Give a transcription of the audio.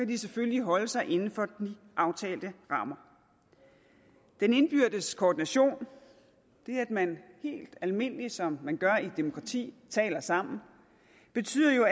de selvfølgelig holde sig inden for de aftalte rammer den indbyrdes koordination det at man helt almindeligt som man gør i et demokrati taler sammen betyder jo